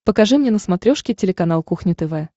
покажи мне на смотрешке телеканал кухня тв